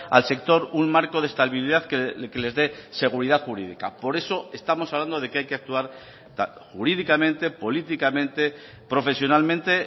al sector un marco de estabilidad que les dé seguridad jurídica por eso estamos hablando de que hay que actuar jurídicamente políticamente profesionalmente